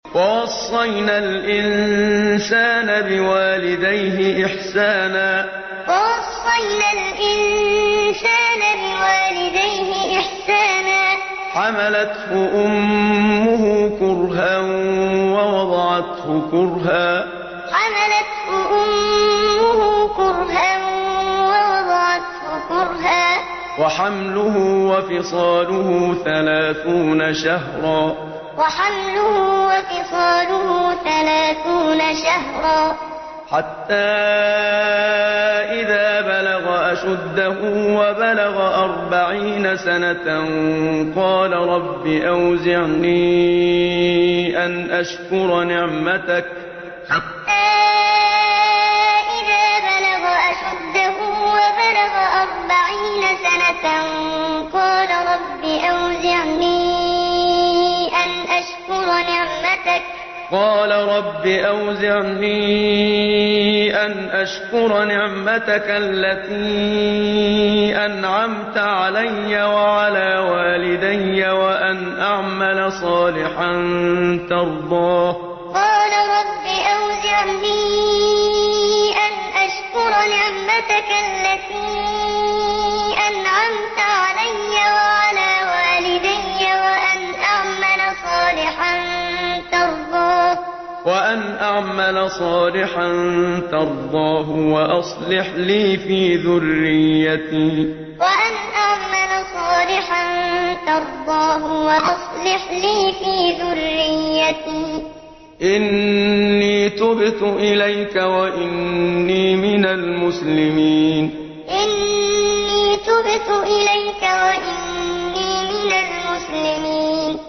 وَوَصَّيْنَا الْإِنسَانَ بِوَالِدَيْهِ إِحْسَانًا ۖ حَمَلَتْهُ أُمُّهُ كُرْهًا وَوَضَعَتْهُ كُرْهًا ۖ وَحَمْلُهُ وَفِصَالُهُ ثَلَاثُونَ شَهْرًا ۚ حَتَّىٰ إِذَا بَلَغَ أَشُدَّهُ وَبَلَغَ أَرْبَعِينَ سَنَةً قَالَ رَبِّ أَوْزِعْنِي أَنْ أَشْكُرَ نِعْمَتَكَ الَّتِي أَنْعَمْتَ عَلَيَّ وَعَلَىٰ وَالِدَيَّ وَأَنْ أَعْمَلَ صَالِحًا تَرْضَاهُ وَأَصْلِحْ لِي فِي ذُرِّيَّتِي ۖ إِنِّي تُبْتُ إِلَيْكَ وَإِنِّي مِنَ الْمُسْلِمِينَ وَوَصَّيْنَا الْإِنسَانَ بِوَالِدَيْهِ إِحْسَانًا ۖ حَمَلَتْهُ أُمُّهُ كُرْهًا وَوَضَعَتْهُ كُرْهًا ۖ وَحَمْلُهُ وَفِصَالُهُ ثَلَاثُونَ شَهْرًا ۚ حَتَّىٰ إِذَا بَلَغَ أَشُدَّهُ وَبَلَغَ أَرْبَعِينَ سَنَةً قَالَ رَبِّ أَوْزِعْنِي أَنْ أَشْكُرَ نِعْمَتَكَ الَّتِي أَنْعَمْتَ عَلَيَّ وَعَلَىٰ وَالِدَيَّ وَأَنْ أَعْمَلَ صَالِحًا تَرْضَاهُ وَأَصْلِحْ لِي فِي ذُرِّيَّتِي ۖ إِنِّي تُبْتُ إِلَيْكَ وَإِنِّي مِنَ الْمُسْلِمِينَ